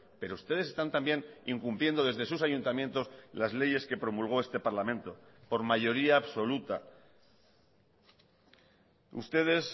pero ustedes están también incumpliendo desde sus ayuntamientos las leyes que promulgó este parlamento por mayoría absoluta ustedes